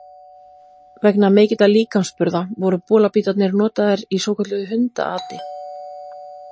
Vegna mikilla líkamsburða, voru bolabítarnir notaðir í svokölluðu hundaati.